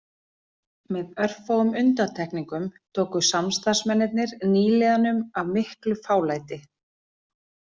Með örfáum undantekningum tóku samstarfsmennirnir nýliðanum af miklu fálæti